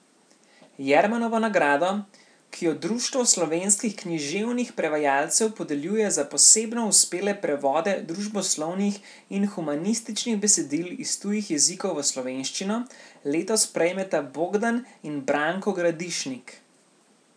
Jermanovo nagrado, ki jo Društvo slovenskih književnih prevajalcev podeljuje za posebno uspele prevode družboslovnih in humanističnih besedil iz tujih jezikov v slovenščino, letos prejmeta Bogdan in Branko Gradišnik.